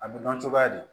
A bɛ dɔn cogoya di